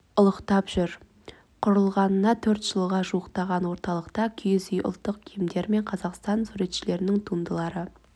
ұлықтап жүр құрылғанына төрт жылға жуықтаған орталықта киіз үй ұлттық киімдер мен қазақстан суретшілерінің туындылары